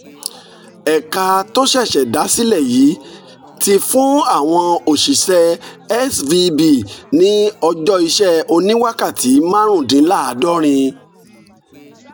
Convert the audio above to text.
ẹ̀ka tó ṣẹ̀ṣẹ̀ dá sílẹ̀ yìí ti fún àwọn òṣìṣẹ́ svb ní ọjọ́ iṣẹ́ oníwákàtí márùndínláàádọ́rin